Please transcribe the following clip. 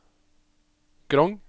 Grong